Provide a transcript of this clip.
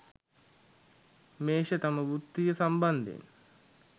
මේෂ තම වෘත්තිය සම්බන්ධයෙන්